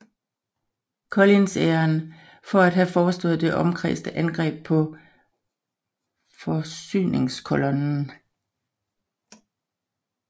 Collins æren for at have foreslået det omkredsende angreb på forsyningskolonnen